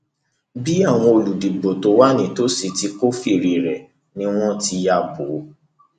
bí àwọn olùdìbò tó wà nítòsí ti kófìrí rẹ ni wọn ti ya bò ó